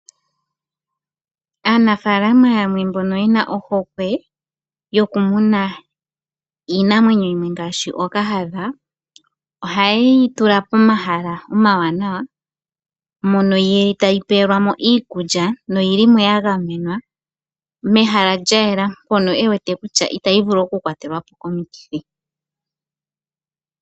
Aanafaalama yamwe mbono yena ohokwe yokumuna iinamwenyo yimwe ngaashi ookahadha ohaye yitula pomahala omawanawa mono yili tayi pelwa mo iikulya noyili mo ya gamenwa mehala lyayela mpono ewete kutya itayi vulu okukwatelwa po komikithi.